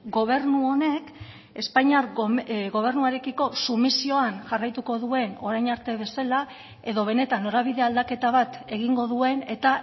gobernu honek espainiar gobernuarekiko sumisioan jarraituko duen orain arte bezala edo benetan norabide aldaketa bat egingo duen eta